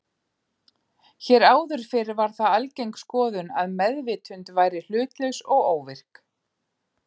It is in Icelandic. Hér áður fyrr var það algeng skoðun að meðvitund væri hlutlaus og óvirk.